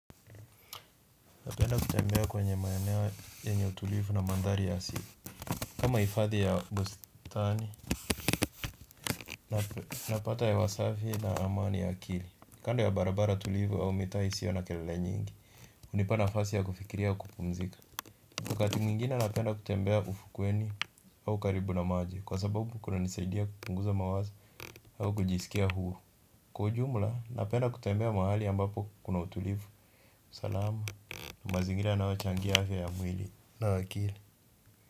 Napenda kutembea kwenye maeneo yenye utulivu na mandhari ya asili. Kama hifadhi ya bustani, napata hewa safi na amani ya akili. Kando ya barabara tulivu au mitaa isiyo ya na kelele nyingi hunipa nafasi ya kufikiria kupumzika. Wakati mwingine napenda kutembea ufukweni au karibu na maji kwa sababu kunanisaidia kupunguza mawazo au kujisikia huru. Kwa ujumla napenda kutembea mahali ambapo kuna utulivu salama, mazingira yanayochangia afya ya mwili na akili.